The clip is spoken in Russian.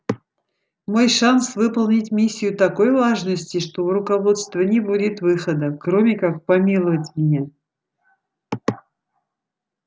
мой шанс выполнить миссию такой важности что у руководства не будет выхода кроме как помиловать меня